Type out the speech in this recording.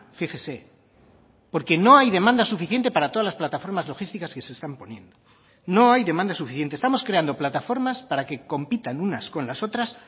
fíjese porque no hay demanda suficiente para todas las plataformas logísticas que se están poniendo no hay demanda suficiente estamos creando plataformas para que compitan unas con las otras